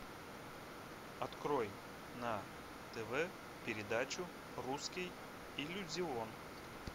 открой на тв передачу русский иллюзион